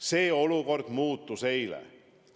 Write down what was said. See olukord muutus eile.